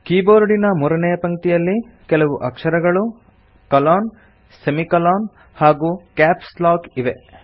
ಕೀಬೋರ್ಡಿನ ಮೂರನೇಯ ಪಂಕ್ತಿಯಲ್ಲಿ ಕೆಲವು ಅಕ್ಷರಗಳು ಕೊಲೊನ್ ಸೆಮಿಕೊಲಾನ್ ಹಾಗೂ ಕ್ಯಾಪ್ಸ್ ಲಾಕ್ ಇವೆ